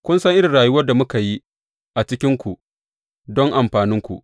Kun san irin rayuwar da muka yi a cikinku don amfaninku.